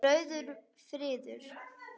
Rauður friður